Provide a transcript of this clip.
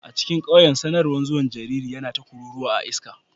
A cikin ƙauyen, sanarwar zuwan jariri yana ta kuruwa a iska.